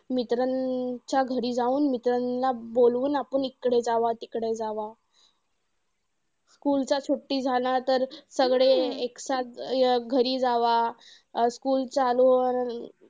मित्रांच्या घरी जाऊन मित्रांना बोलावून आपण इकडे जावा तिकडे जावा. School चे school झाला, तर सगळे घरी जावा, अं school चालू